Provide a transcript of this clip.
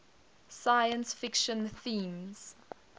science fiction themes